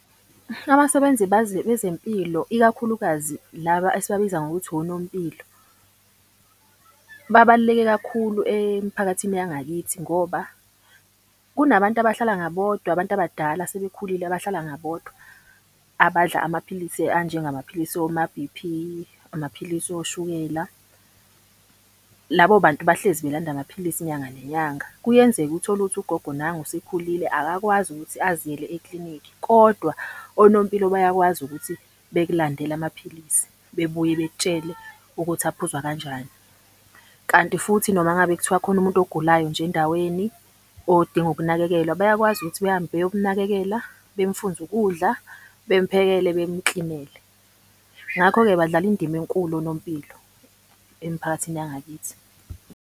Abasebenzi bezempilo, ikakhulukazi laba esibabiza ngokuthi onompilo babaluleke kakhulu emphakathini yangakithi. Ngoba kunabantu abahlala ngabodwa, abantu abadala asebekhulile abahlala ngabodwa, abadla amaphilisi anjengamaphilisi oma-B_P, amaphilisi oshukela. Labo bantu bahlezi belanda amaphilisi inyanga nenyanga. Kuyenzeka uthole ukuthi ugogo nangu usekhulile akakwazi ukuthi aziyele eklinikhi kodwa onompilo bayakwazi ukuthi bekulandele amaphilisi, bebuye bekutshele ukuthi aphuzwa kanjani. Kanti futhi noma ngabe kuthiwa khona umuntu ogulayo nje endaweni odinga ukunakekelwa, bayakwazi ukuthi behambe beyomunakekela, bemfunze ukudla, bemphekele, bemuklinele. Ngakho-ke, badlala indima enkulu onompilo emiphakathini yangakithi.